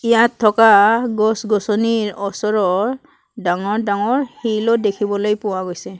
ইয়াত থকা গছ-গছনিৰ ওচৰৰ ডাঙৰ ডাঙৰ শিলো দেখিবলৈ পোৱা গৈছে।